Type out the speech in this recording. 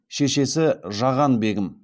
шешесі жаған бегім